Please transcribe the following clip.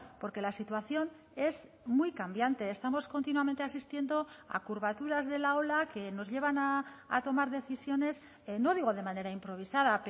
porque la situación es muy cambiante estamos continuamente asistiendo a curvaturas de la ola que nos llevan a tomar decisiones no digo de manera improvisada